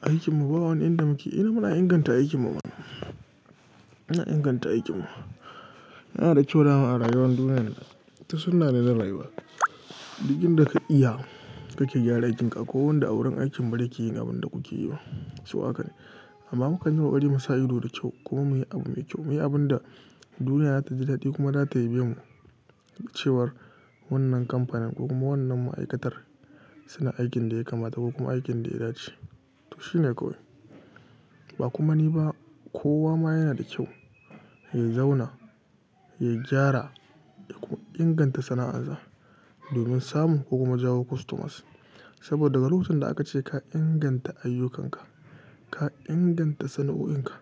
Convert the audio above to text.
Aikin mu, ba wani inda muke ina muna inganta aikin mu ba. Muna inganta aikin mu. Yana da kyau da dama a rayuwar duniyar ta suna da raiwa. Duk inda ka iya kake gyara aikinka ko wanda wurin aikin barki yi abin da kuke yiwa, su waƙa ne. Amma muka yi kokari mu sa ido da kyau. Ko meye abu mai kyau, meye abin da duniya za ta ji daɗi kuma za ta yabemu cewar wannan kamfanin ko kuma wannan ma'aikatar suna aikin da ya kamata ko kuma aikin da ya dace. To shi ne kawai. Ba kuma ni ba kowa ma yana da kyau ya zauna, ya gyara ko inganta sana'arsa domin samun ko kuma jawo customers. Saboda daga lokacin da aka ce ka inganta ayyukanka, ka inganta sana'o'inka